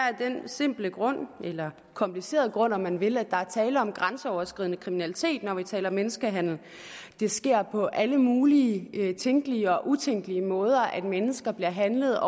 af den simple grund eller komplicerede grund om man vil at der er tale om grænseoverskridende kriminalitet når vi taler menneskehandel det sker på alle mulige tænkelige og utænkelige måder at mennesker bliver handlet